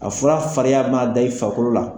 A fura farinya maa da i farikolo la